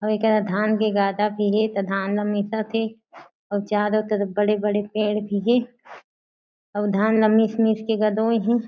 अउ एकरा धान के गादा भी हे ता धान ल मिसत हे अउ चारो तरफ बड़े-बड़े पेड़ भी हे अउ धान ला मिस-मिस के गादोए हे।